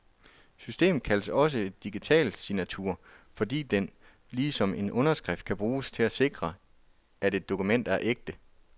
Systemet kaldes også en digital signatur, fordi den, ligesom en underskrift, kan bruges til at sikre, at et dokument er ægte.